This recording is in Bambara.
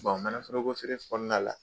Bɔn manaforoko feere kɔnɔna la